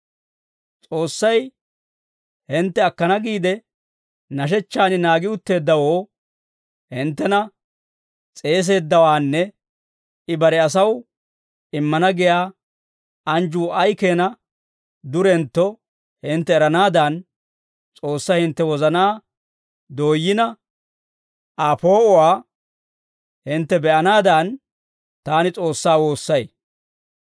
S'oossay hintte akkana giide, nashechchan naagi utteeddawoo hinttena s'eeseeddawaanne I bare asaw immana giyaa anjjuu ay keenaa durentto hintte eranaadan, S'oossay hintte wozanaa dooyyina, Aa poo'uwaa hintte be'anaadan, taani S'oossaa woossay.